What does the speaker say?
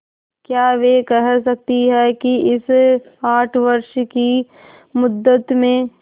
क्या वे कह सकती हैं कि इस आठ वर्ष की मुद्दत में